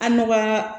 An dɔ ka